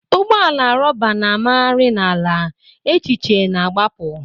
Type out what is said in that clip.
Ụgbọ ala rọba na-amagharị n'ala, echiche na-agbapụ.